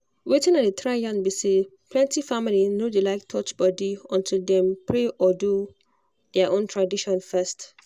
weytin i dey try yarn be say plenty family no dey like touch body until dem pray or do their own tradition first.